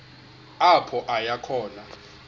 apho aya khona